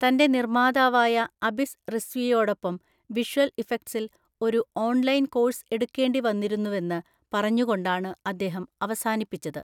തൻ്റെ നിർമ്മാതാവായ അബിസ് റിസ്വിയോടൊപ്പം വിഷ്വൽ ഇഫക്ട്സിൽ ഒരു ഓൺലൈൻ കോഴ്സ് എടുക്കേണ്ടി വന്നിരുന്നുവെന്ന് പറഞ്ഞുകൊണ്ടാണ് അദ്ദേഹം അവസാനിപ്പിച്ചത്.